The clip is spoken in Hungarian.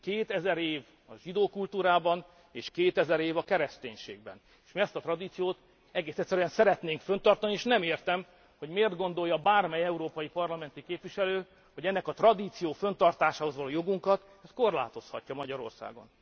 2000 év a zsidó kultúrában és 2000 év a kereszténységben, és ezt a tradíciót egész egyszerűen szeretnénk fönntartani, és nem értem, hogy miért gondolja bármely európai parlamenti képviselő, hogy ennek a tradíciónak a fönntartásához való jogunkat korlátozhatja Magyarországon.